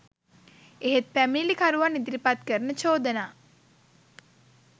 එහෙත් පැමිණිලිකරුවන් ඉදිරිපත් කරන චෝදනා